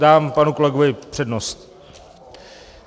Dám panu kolegovi přednost.